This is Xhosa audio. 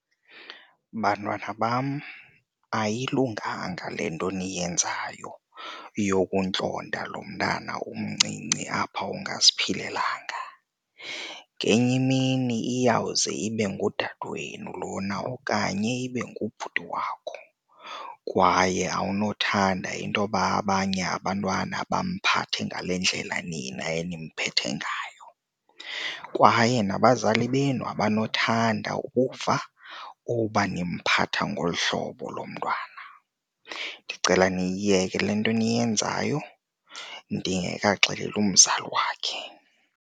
Bantwana bam, ayilunganga le nto niyenzayo yokuntlonta lo mntana umncinci apha ungaziphilelanga. Ngenye imini iyawuze ibe ngudade wenu lona okanye ibe ngubhuti wakho kwaye awunothanda intoba abanye abantwana bamphathe ngale ndlela nina enimphethe ngayo kwaye nabazali benu abanothanda ukuva uba nimphatha ngolu hlobo lo mntwana. Ndicela niyiyeke le nto eniyenzayo ndingekaxeleli umzali wakhe.